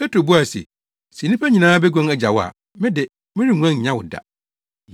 Petro buae se, “Sɛ nnipa nyinaa beguan agya wo a, me de, merenguan nnya wo da.”